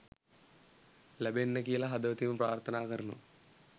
ලැබෙන්න කියලා හදවතින්ම ප්‍රර්ථනා කරනවා